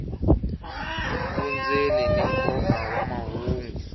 vundzeni ni nkoka wa mahungu